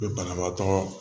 Be banabaatɔ